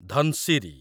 Dhansiri